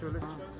Şölə çıxmış.